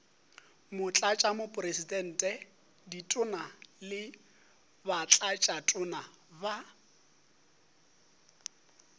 motlatšamopresidente ditona le batlatšatona ba